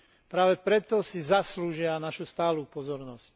Práve preto si zaslúžia našu stálu pozornosť.